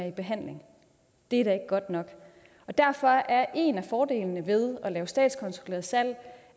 i behandling det er da ikke godt nok derfor er en af fordelene ved at lave statskontrolleret salg